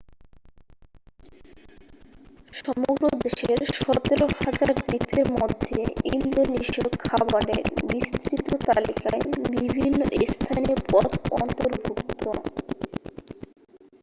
সমগ্র দেশের 17,000 দ্বীপের মধ্যে ইন্দোনেশীয় খাবারের বিস্তৃত তালিকায় বিভিন্ন স্থানীয় পদ অন্তর্ভুক্ত